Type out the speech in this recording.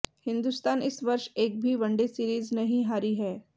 हिंदुस्तान इस वर्ष एक भी वनडे सीरीज नहीं हारी है